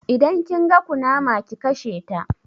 Idan kin ga kunama ki kasheta